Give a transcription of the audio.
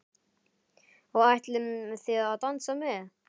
Og ætlið þið að dansa með?